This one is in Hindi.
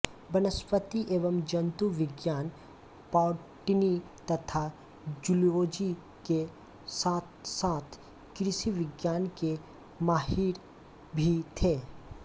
वनस्पति एवं जन्तु विज्ञान बॉटनी तथा जूलोजी के साथसाथ कृषिविज्ञान के माहिर भी थे